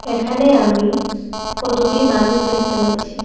এখানে আমি কতগুলি মানুষ দেখতে পাচ্ছি।